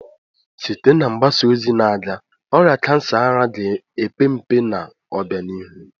Site na mgbasa ozi na-aga, ọrịa kansa ara ga-epe mpe n'obianihu.